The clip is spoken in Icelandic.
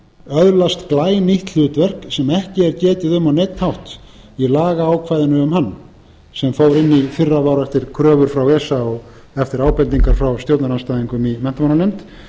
öðlast glænýtt hlutverk sem ekki er getið um á neinn hátt í lagaákvæðum um hann sem fór in í fyrra eftir kröfur frá esa og eftir ábendingum frá stjórnarandstæðingum í menntamálanefnd